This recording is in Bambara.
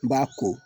N b'a ko